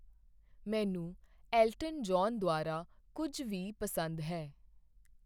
ਮੈਨੂੰ Elton John ਦੁਆਰਾ ਕੁੱਝ ਵੀ ਪਸੰਦ ਹੈ